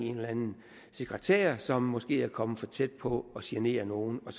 en eller anden sekretær som måske er kommet for tæt på at genere nogen og